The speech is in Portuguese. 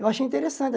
Eu achei interessante.